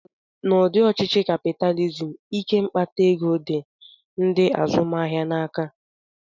N'ụdị ọchịchị kapịtalizim, ike mkpata ego dị ndị azụmahịa n'aka